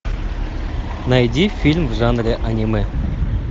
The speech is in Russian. найди фильм в жанре аниме